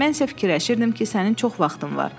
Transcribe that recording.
Mən isə fikirləşirdim ki, sənin çox vaxtın var.